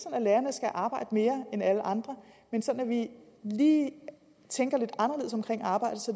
at lærerne skal arbejde mere end alle andre men sådan at vi lige tænker lidt anderledes omkring arbejdet så